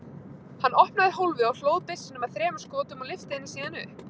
Hann opnaði hólfið og hlóð byssuna með þremur skotum og lyfti henni síðan upp.